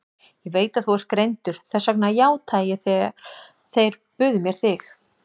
Ég veit að þú ert greindur, þess vegna játaði ég þegar þeir buðu mér þig.